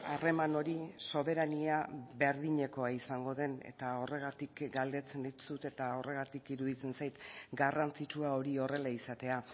harreman hori soberania berdinekoa izango den eta horregatik galdetzen dizut eta horregatik iruditzen zait garrantzitsua hori horrela izatea